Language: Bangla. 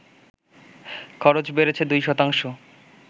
খরচ বেড়েছে দুই শতাংশ